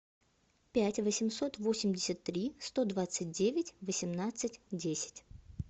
пять восемьсот восемьдесят три сто двадцать девять восемнадцать десять